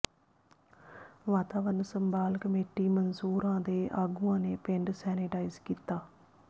ਵਾਤਾਵਰਨ ਸੰਭਾਲ ਕਮੇਟੀ ਮਨਸੂਰਾਂ ਦੇ ਆਗੂਆਂ ਨੇ ਪਿੰਡ ਸੈਨੇਟਾਈਜ਼ ਕੀਤਾ